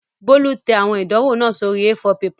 Bólú tẹ àwọn ìdánwò náà sórí A4 pepà